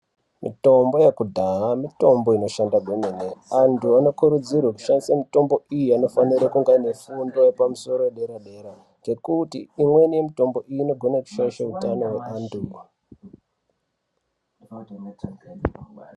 Mitombo yekudhaya mitombo inoshanda kwemene. Antu anokurudzirwe kushandisa mutombo iyi inofanira kunge ine fundo yepamusoro ye dera dera ngekuti imweni mutombo inogona kushaisha utano hwevantu.